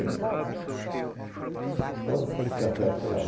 Então, o café ficava...